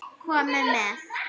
Komiði með!